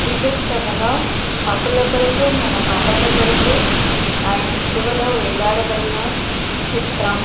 Jesus అనగా మన తప్పుల కొరకు పాపాల కొరకు సిలువలో వేలాడబడిన చిత్రం.